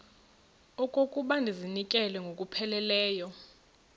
okokuba ndizinikele ngokupheleleyo